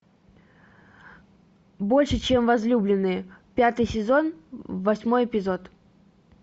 больше чем возлюбленные пятый сезон восьмой эпизод